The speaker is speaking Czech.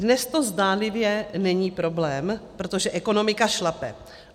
Dnes to zdánlivě není problém, protože ekonomika šlape.